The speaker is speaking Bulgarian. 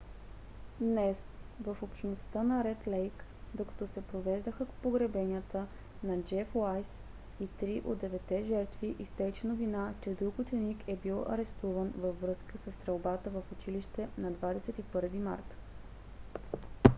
днес в общността на ред лейк докато се провеждаха погребенията на джеф уайз и три от деветте жертви изтече новина че друг ученик е бил арестуван във връзка със стрелбата в училище на 21 март